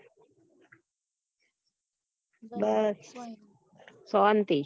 બસ સોન્તી